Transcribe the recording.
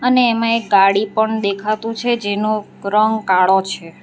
અને એમા એક ગાડી પણ દેખાતુ છે જેનો રંગ કાળો છે.